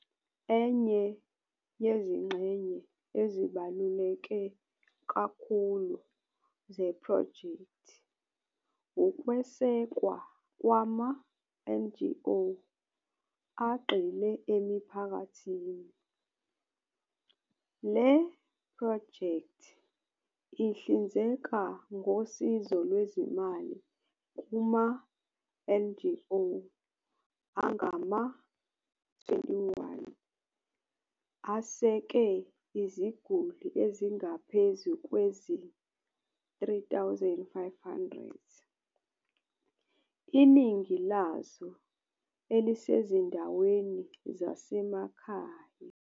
Enye yezingxenye ezibaluleke kakhulu zephrojekthi ukwesekwa kwama-NGO agxile emiphakathini. Le phrojekthi ihlinzeka ngosizo lwezimali kuma-NGO angama-21 aseseke iziguli ezingaphezu kwezi-3500, iningi lazo elisezindaweni zasemakhaya.